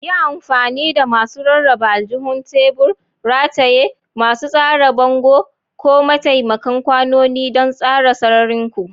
Yi amfani da masu rarraba aljihun tebur, rataye, masu tsara bango, ko takamaiman kwanoni don tsara sararin ku.